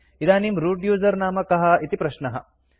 इदानीं root user नाम कः इति प्रश्नः